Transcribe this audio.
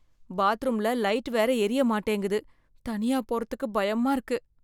பாத்ரூம்ல லைட் வேற எரிய மாட்டேங்குது, தனியா போறதுக்கு பயமா இருக்கு.